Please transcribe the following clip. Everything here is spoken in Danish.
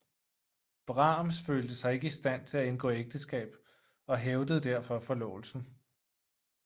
Brahms følte sig ikke i stand til at indgå ægteskab og hævede derfor forlovelsen